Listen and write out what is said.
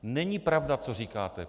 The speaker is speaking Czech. Není pravda, co říkáte.